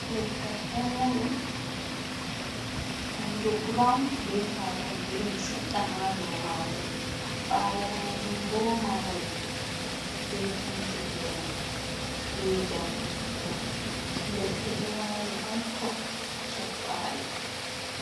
Leggal dammuɗum, ɓandu burawun be hako girin sedɗa ha do majum. Ɓawo majum bo mahol be Penti giren be jamɗee bulu. Ledɗe ɗo wali hatton Soppaɗe.